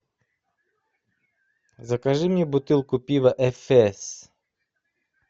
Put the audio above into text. закажи мне бутылку пива эфес